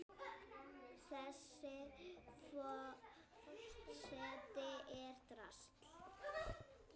Þessi forseti er drasl!